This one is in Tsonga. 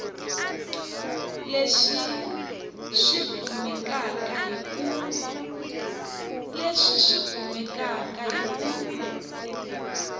leswi swi kumeka hi ku